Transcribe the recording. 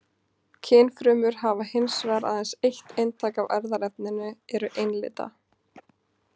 Kynfrumur hafa hins vegar aðeins eitt eintak af erfðaefninu, eru einlitna.